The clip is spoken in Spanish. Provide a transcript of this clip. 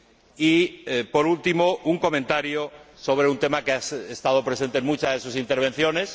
Y, por último, un comentario sobre un tema que ha estado presente en muchas de sus intervenciones.